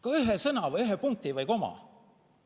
Kas või ühe sõna või ühe punkti või koma?